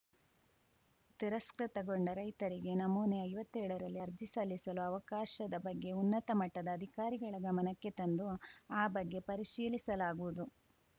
ತಿರಸ್ಕೃತಗೊಂಡ ರೈತರಿಗೆ ನಮೂನೆ ಐವತ್ತೇಳರಲ್ಲಿ ಅರ್ಜಿ ಸಲ್ಲಿಸಲು ಅವಕಾಶದ ಬಗ್ಗೆ ಉನ್ನತ ಮಟ್ಚದ ಅಧಿಕಾರಿಗಳ ಗಮನಕ್ಕೆ ತಂದು ಆ ಬಗ್ಗೆ ಪರಿಶೀಲಿಸಲಾಗುವುದು